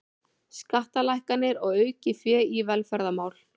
Skattalækkanir og aukið fé í velferðarmál